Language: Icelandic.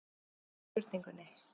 Ég var hissa á spurningunni.